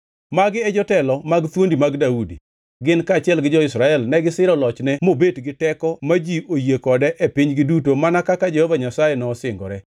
Magi e jotelo mag thuondi mag Daudi, gin, kaachiel gi jo-Israel negisiro lochne mobet gi teko ma ji oyie kode e pinygi duto mana kaka Jehova Nyasaye nosingore.